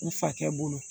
U fakɛ bolo